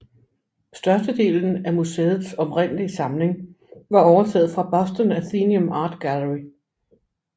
Størstedelen af museets oprindelige samling var overtaget fra Boston Athenaeum Art Gallery